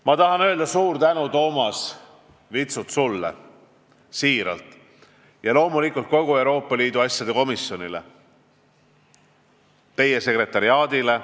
Ma tahan öelda suur tänu sulle, Toomas Vitsut, ja loomulikult kogu Euroopa Liidu asjade komisjonile, teie sekretariaadile.